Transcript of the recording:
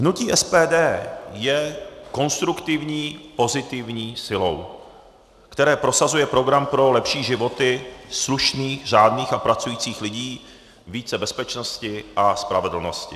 Hnutí SPD je konstruktivní pozitivní silou, která prosazuje program pro lepší životy slušných, řádných a pracujících lidí, více bezpečnosti a spravedlnosti.